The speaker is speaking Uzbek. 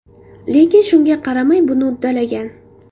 Lekin shunga qaramay, buni uddalagan.